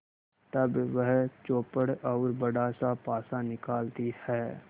तब वह चौपड़ और बड़ासा पासा निकालती है